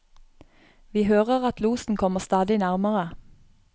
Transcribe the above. Vi hører at losen kommer stadig nærmere.